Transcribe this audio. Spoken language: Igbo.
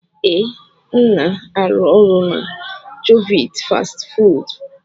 Ee, m na-arụ ọrụ na jovit fastị fụụdụ.